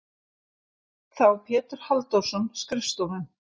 þá Pétur Halldórsson skrifstofum.